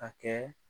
A kɛ